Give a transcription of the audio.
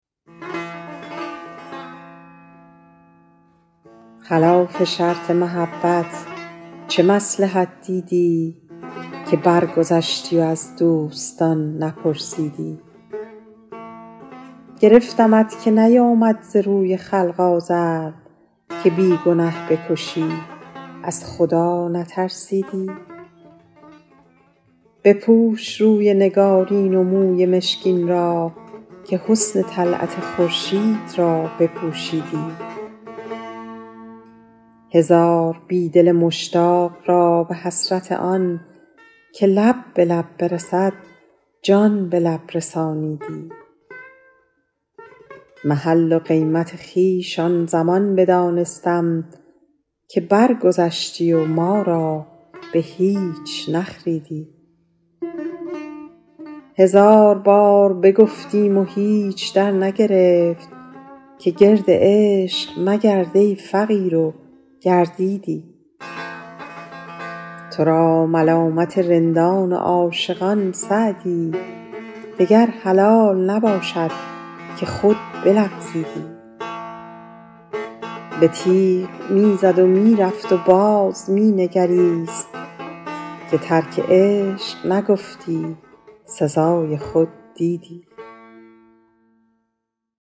خلاف شرط محبت چه مصلحت دیدی که برگذشتی و از دوستان نپرسیدی گرفتمت که نیآمد ز روی خلق آزرم که بی گنه بکشی از خدا نترسیدی بپوش روی نگارین و موی مشکین را که حسن طلعت خورشید را بپوشیدی هزار بی دل مشتاق را به حسرت آن که لب به لب برسد جان به لب رسانیدی محل و قیمت خویش آن زمان بدانستم که برگذشتی و ما را به هیچ نخریدی هزار بار بگفتیم و هیچ درنگرفت که گرد عشق مگرد ای فقیر و گردیدی تو را ملامت رندان و عاشقان سعدی دگر حلال نباشد که خود بلغزیدی به تیغ می زد و می رفت و باز می نگریست که ترک عشق نگفتی سزای خود دیدی